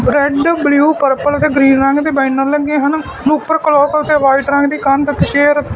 red blue purple ਤੇ green ਰੰਗ ਦੇ ਬੈਨਰ ਲੱਗੇ ਹਨ ਉਪਰ ਕਲੋਕ ਤੇ ਵਾਈਟ ਰੰਗ ਦੀ ਕੰਧ ਤੇ ਚੇਅਰ --